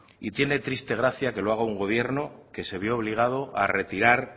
y tiene triste gracia que lo haga un gobierno que se vio obligado a retirar